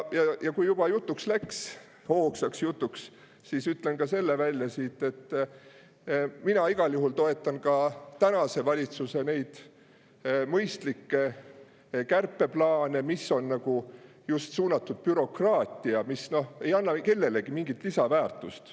Ja kui juba jutuks läks, hoogsaks jutuks, siis ütlen ka selle välja, et mina igal juhul toetan tänase valitsuse mõistlikke kärpeplaane, mis on suunatud just sellise bürokraatia vastu, mis ei anna kellelegi mingit lisaväärtust.